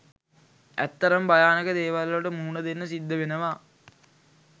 ඇත්තටම භයානක දේවල් වලට මුහුණදෙන්න සිද්ධ වෙනවා